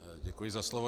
Děkuji za slovo.